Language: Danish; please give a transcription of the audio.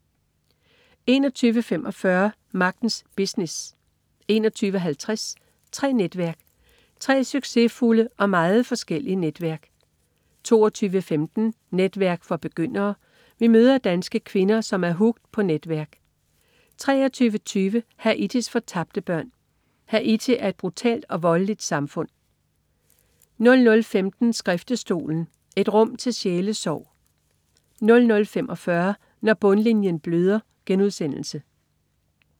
21.45 Magtens business 21.50 Tre netværk. Tre succesfulde og meget forskellige netværk 22.15 Netværk for begyndere. Vi møder danske kvinder, som er hooked på netværk 23.20 Haitis fortabte børn. Haiti er et brutalt og voldeligt samfund 00.15 Skriftestolen. Et rum til sjælesorg 00.45 Når bundlinjen bløder*